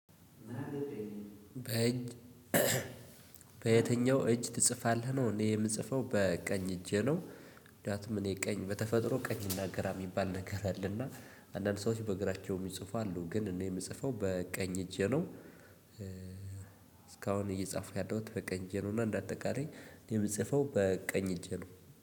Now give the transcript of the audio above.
በእጅ በየትኛው እጅ ትጽፋለህ ነው? እኔ የምጽፈው በቀኝ እጄ ነው። ምክንያቱም እኔ ቀኝ በተፈጥሮ ቀኝ እና ግራ የሚባል ነገር አለና። አንዳንድ ሰዎች በእግራቸው እሚጽፉ አሉ ግን እኔ የምጽፈው በቀኝ እጄ ነው። እስካሁን እየጻፉ ያለሁት በቀኝ እጄ ነው። እና እንደ አጠቃላይ የምጽፈው በቀኝ እጄ ነው